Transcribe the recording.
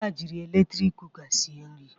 Ada jịrị eletrik kụka sịe nri